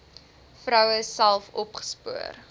vroue self opgespoor